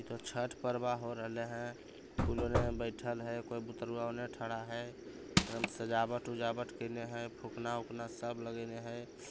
--भाषा बहुत सारे लोग आये हुए जन्म दिन की पार्टी चल रही है।